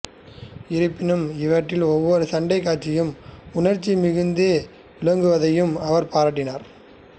இருப்பினும் இவற்றில் ஒவ்வொரு சண்டைக் காட்சியும் உணர்ச்சி மிகுந்து விளங்குவதையும் அவர் பாராட்டினார்